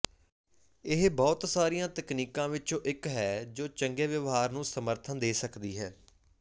ਇਹ ਬਹੁਤ ਸਾਰੀਆਂ ਤਕਨੀਕਾਂ ਵਿੱਚੋਂ ਇੱਕ ਹੈ ਜੋ ਚੰਗੇ ਵਿਵਹਾਰ ਨੂੰ ਸਮਰਥਨ ਦੇ ਸਕਦੀ ਹੈ